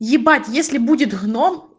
ебать если будет гном